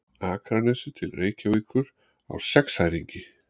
Akranesi til Reykjavíkur á sexæringi.